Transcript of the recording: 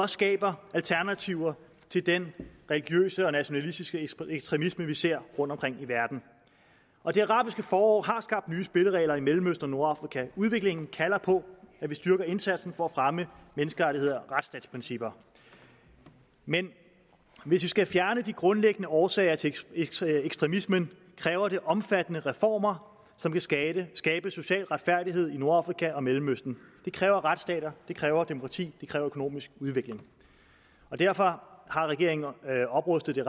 skaber alternativer til den religiøse og nationalistiske ekstremisme vi ser rundtomkring i verden og det arabiske forår har skabt nye spilleregler i mellemøsten og nordafrika udviklingen kalder på at vi styrker indsatsen for at fremme menneskerettigheder og retsstatsprincipper men hvis vi skal fjerne de grundlæggende årsager til ekstremismen kræver det omfattende reformer som kan skabe skabe social retfærdighed i nordafrika og mellemøsten det kræver retsstater det kræver demokrati det kræver økonomisk udvikling og derfor har regeringen oprustet det